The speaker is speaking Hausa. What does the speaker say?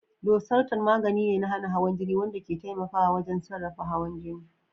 Losartan magani ne na hana hawan jini wanda ke taimakawa wajen sarrafa hawan jini.